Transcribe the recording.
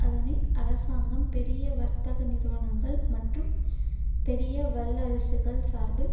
அதனை அரசாங்கம் பெரிய வர்த்தக நிறுவனங்கள் மற்றும் பெரிய வல்லரசுகள் சார்பில்